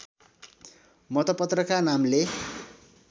मतपत्रका नामले